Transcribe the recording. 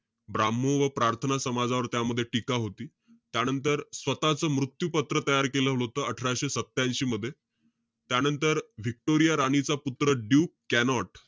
ब्राम्हण व प्रार्थना समाजावर त्यामध्ये टीका होती. त्यानंतर, स्वतःच मृत्यू पत्र तयार केलं होतं, अठराशे सत्यांशी मध्ये. त्यानंतर, व्हिक्टोरिया राणीचा पुत्र ड्यूक कॅनॉट,